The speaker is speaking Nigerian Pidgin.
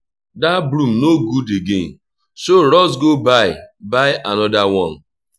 dat broom no good again so rush go buy buy another one